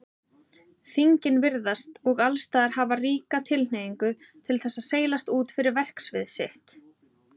Þingin virðast og allsstaðar hafa ríka tilhneigingu til þess að seilast út fyrir verksvið sitt.